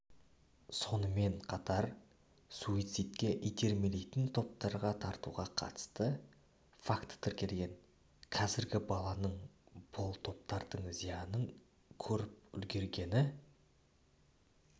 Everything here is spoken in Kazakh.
сонымен қатар суицидке итермелейтін топтарға тартуға қатысты факті тіркелген қазір баланың бұл топтардың зиянын көріп үлгергені